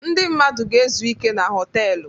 Ndị mmadụ ga-ezu ike na họtelụ.